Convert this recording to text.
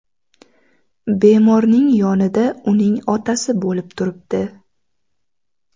Bemorning yonida uning otasi bo‘lib turibdi.